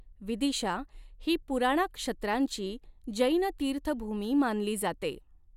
विदिशा ही पुराणाक्षत्रांची जैन तीर्थभूमी मानली जाते.